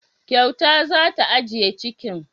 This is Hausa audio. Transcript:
Kyauta za ta agiye cikin.